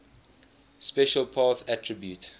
special path attribute